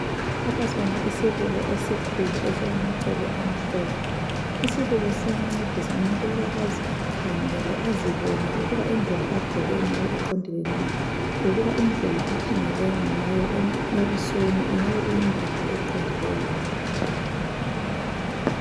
Lapha sibona isibuko esikhulu esilamacele amhlophe. Isibuko siyancedisa umuntu ukuba azikhangele azibone ukuba indlela agqoke ngayo iqondile na lokuba indlela akhangeleka ngayo ebusweni ingabe iyindlela eqondileyo na.